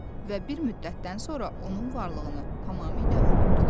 Və bir müddətdən sonra onun varlığını tamamilə unutdular.